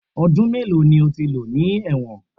Ọdún mélòó ni o ti lò ní ẹ̀wọ̀n?